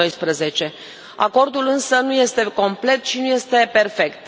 2012. Acordul, însă, nu este complet și nu este perfect.